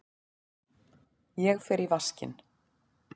Ég fer í vaskinn.